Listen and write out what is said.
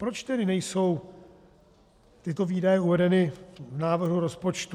Proč tedy nejsou tyto výdaje uvedeny v návrhu rozpočtu?